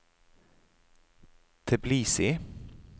Tbilisi